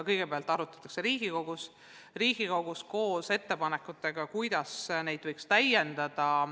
Kõigepealt arutatakse neid Riigikogus koos ettepanekutega, kuidas neid võiks täiendada.